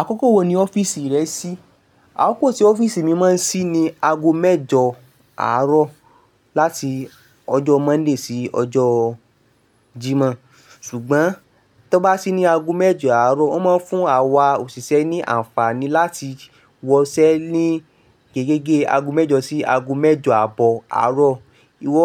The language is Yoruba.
Àkókò wo ni ọ́fìsì rẹ ṣí? Àkókò tí ọ́fìsì mi máa ń ṣí ni ago mẹ́jọ àárọ̀ láti ọjọ́ Monday sí ọjọ́ Jimo. Ṣùgbọ́n to ó bá ṣí ní ago mẹ́jọ àárọ̀, ó máa ń fún àwa òṣìṣẹ́ ní àǹfààní láti wọ iṣẹ́ ní gegẹ́ge ago mẹ́jọ sí ago mẹ́jọ àbọ̀ àárọ̀. Ìwọ,